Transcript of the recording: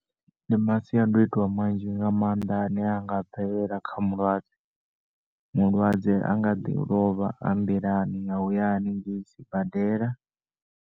Ndi masiandoitwa manzhi nga maanḓa ane anga bvelela kha mulwadze, mulwadze anga ḓi lovha a nḓilani ya uya hanengei sibadela.